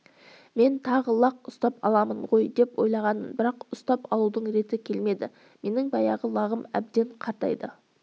мен тағы лақ ұстап аламын ғой деп ойлағанмын бірақ ұстап алудың реті келмеді менің баяғы лағым әбден қартайды